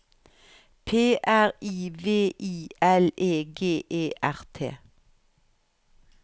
P R I V I L E G E R T